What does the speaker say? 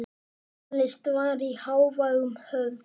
Tónlist var í hávegum höfð.